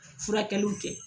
Furakɛliw tɛ